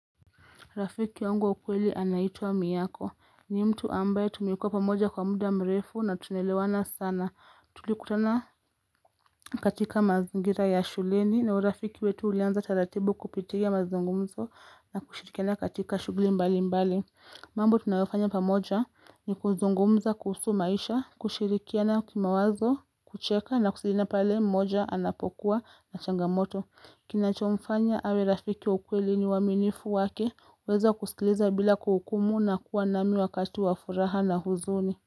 Rafiki ongo ukweli anaitua miyako, ni mtu ambaye tumikua pamoja kwa muda mrefu na tunelewana sana. Tulikutana katika mazingira ya shuleni na urafiki wetu uleanza taratibu kupitea mazingumzo na kushirikiana katika shugli mbali mbali. Mambo tunayofanya pamoja ni kuzongumza kusu maisha, kushirikiana kima wazo, kucheka na kusirikiana pale mmoja anapokuwa na changamoto. Kinachomfanya awe rafiki ukweli ni waminifu wake weza kusikileza bila kuhukumu na kuwa nami wakatu wa furaha na huzuni.